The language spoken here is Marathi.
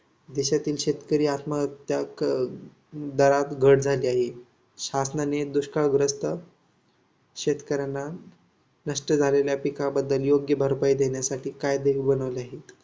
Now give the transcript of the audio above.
देशातील शेतकरी आत्महत्या दरात घट झाली आहे. शासनाने दुष्काळग्रस्त शेतकऱ्यांना नष्ट झालेल्या पिकाबद्दल योग्य भरपाई देण्यासाठी कायदेही बनवले आहेत.